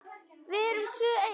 Við erum tvö ein.